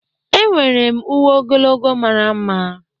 Enwere m uwe ogologo mara mma.